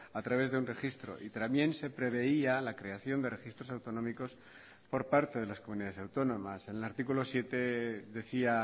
a través de un registro y también se preveía la creación de registros autonómicos por parte de las comunidades autónomas en el artículo siete decía